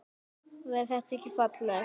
Væri það ekki fallegt?